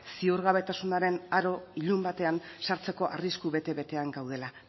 ziurgabetasunaren aro ilun batean sartzeko arrisku bete betean gaudela